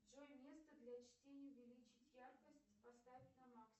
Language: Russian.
джой место для чтения увеличить яркость поставь на максимум